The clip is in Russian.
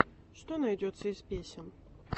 что найдется из песен